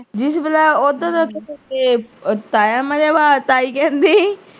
ਬੁਲਾਇਆ ਉਧਰ ਤੇ ਤਾਇਆ ਮਰਿਆ ਵਿਆ ਤੇ ਤਾਈ ਕਹਿੰਦੀ